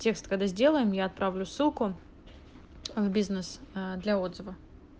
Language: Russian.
текст когда сделаем я отправлю ссылку в бизнес для отзыва